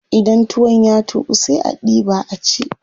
Idan tuwon ya tuƙu sai a diɓa a ci.